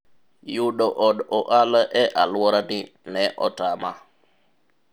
yudo od ohala e alwora ni ne otama